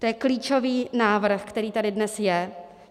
To je klíčový návrh, který tady dnes je.